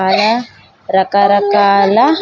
ఆడ రకరకాల.